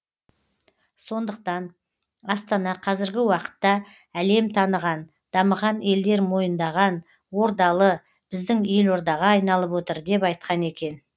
сондықтан астана қазіргі уақытта әлем таныған дамыған елдер мойындаған ордалы біздің елордаға айналып отыр деп айтқан екен